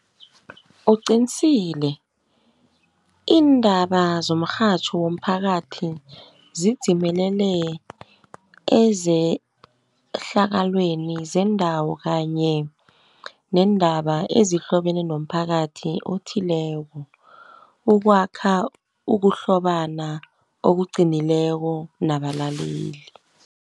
Uqinsile iindaba zomrhatjho womphakathi zinzimelele ezehlakalweni zendawo, kanye neendaba ezihlobene nomphakathi othileko, ukwakha ukuhlobana okuqinileko nabalaleli.